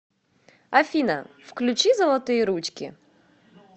афина включи золотые ручки